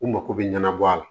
U mako bɛ ɲɛnabɔ a la